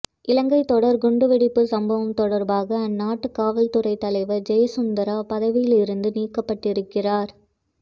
இலங்கை தொடர் குண்டுவெடிப்பு சம்பவம் தொடர்பாக அந்நாட்டு காவல்துறை தலைவர் ஜெயசுந்தரா பதவியிலிருந்து நீக்கப்பட்டிருக்கிறார்